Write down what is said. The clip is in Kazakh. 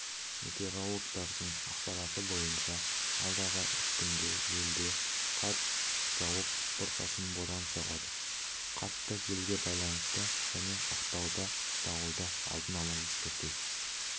метеорологтардың ақпараты бойынша алдағы үш күнде елде қар жауып бұрқасын бұран соғады қатты желге байланысты және ақтауда дауылды алдын ала ескерту